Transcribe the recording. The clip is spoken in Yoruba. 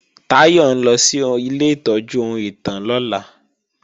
Táyọ̀ ń lọ sí ilé ìtọ́jú ohun ìtàn lọ́la